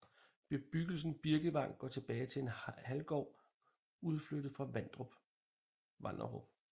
Bebyggelsen Birkvang går tilbage til en halvgård udflyttet fra Vanderup